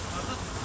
Qoy qəti boş qoy.